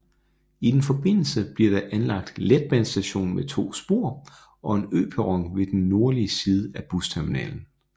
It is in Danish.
I den forbindelse bliver der anlagt en letbanestation med to spor og en øperron ved den nordlige side af busterminalen